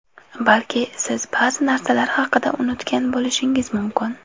Balki siz ba’zi narsalar haqida unutgan bo‘lishingiz mumkin.